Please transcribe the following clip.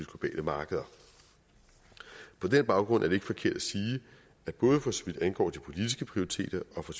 globale markeder på den baggrund er det ikke forkert at sige at både for så vidt angår de politiske prioriteter og for